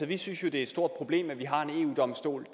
vi synes jo det er et stort problem at vi har en eu domstol